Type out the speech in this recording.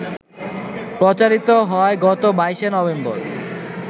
প্রচারিত হয় গত ২২শে নভেম্বর